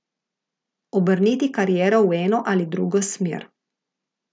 Obrniti kariero v eno ali drugo smer.